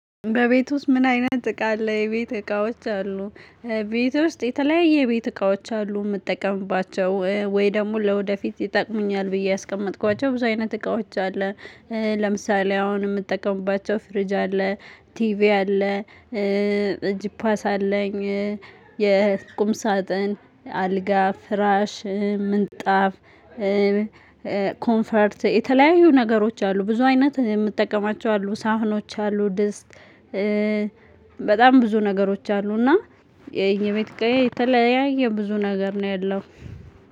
በቤት ውስጥ ምን አይነት እቃ አለ? የቤት እቃዎች አሉ ቤት ውስጥ የተለያየ የቤት እቃዎች አሉ የምጠቀምባቸው ወይ ደግሞ ለወደፊት ይጠቅሙኛል ብዬ ያስቀመጥኳቸው ብዙ አይነት እቃዎች አለ ለምሳሌ አሁን የምጠቀምባቸው ፍሪጅ አለ ቲቪ አለ ጂፓስ አለኝ ሳጥን አልጋ ፍራሽ ምንጣፍ ኮንፈርት የተለያዩ ነገሮች አሉ ብዙ አይነት የምጠቀማቸው አሉ ሳህኖች አሉ ድስት ብዙ ነገሮች አሉ እና የኝቤት እቃየ የተለያየ ብዙ ነገር ነው ያለው